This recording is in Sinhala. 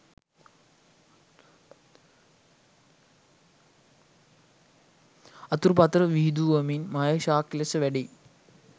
අතුපතර විහිදුවමින් මහේශාක්‍ය ලෙස වැඩෙයි.